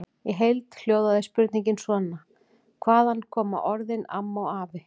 Í heild hljóðaði spurningin svona: Hvaðan koma orðin AMMA og AFI?